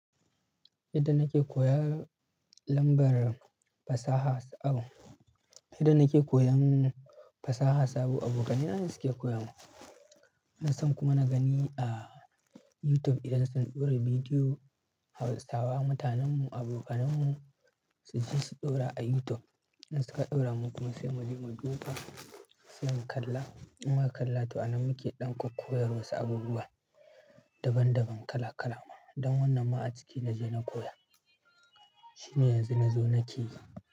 Yadda nake koyan lambar fasaha sabo, yadda nake koyan fasaha sabo, abokanai nane suke koya min. Ina san kuma na gani a YouTube idan sun ɗora bidiyo Hausawa, mutanen mu, abokanen mu su ji su ɗora a YouTube. In suka ɗora mu kuma sai muje mu duba, sai mu kalla. In muka kalla to anan muke ɗan koyar wasu abubuwa daban daban kala kala. Don wannan ma a ciki naje na koya. Shine yanzu nazo nake yi.